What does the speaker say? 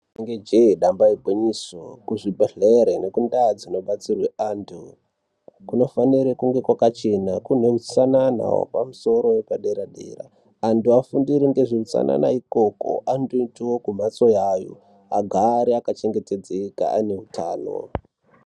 Inenge jee, damba igwinyiso, kuzvibhehlera nekundau dzinobatsira antu kunofanire kunge kwakachena, kune utsanana wepamusoro wepadera-dera. Antu afundire ngezveutsanana ikoko, andoitawo kumhatso yayo , agare akachengetedzeka aine utano.